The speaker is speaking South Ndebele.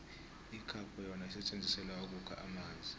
ikhapho yona isetjenzisilwa ukukha amanzi